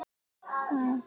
Og þannig varð það.